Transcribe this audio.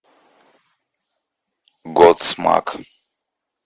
годсмак